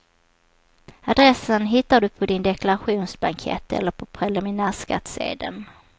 Adressen hittar du på din deklarationsblankett eller på preliminärskattsedeln.